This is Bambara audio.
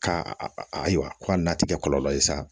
Ka a a ko k'a na tikɛ kɔlɔlɔ ye sa